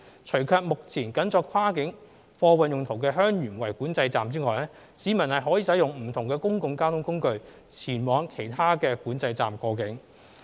除卻目前僅作跨境貨運用途的香園圍管制站外，市民可使用不同公共交通工具前往其他管制站過境。